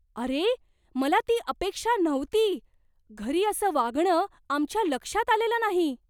अरे, मला ती अपेक्षा नव्हती. घरी असं वागणं आमच्या लक्षात आलेलं नाही.